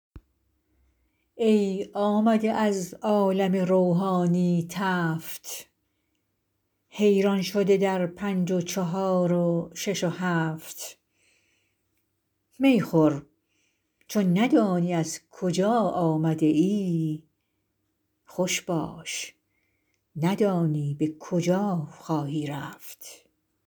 ای آمده از عالم روحانی تفت حیران شده در پنج و چهار و شش و هفت می نوش ندانی ز کجا آمده ای خوش باش ندانی به کجا خواهی رفت